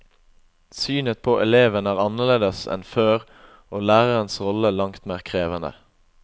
Synet på eleven er annerledes enn før og lærerens rolle langt mer krevende.